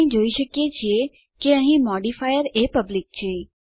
આપણે જોઈ શકીએ છીએ કે અહીં મોડિફાયર એ પબ્લિક છે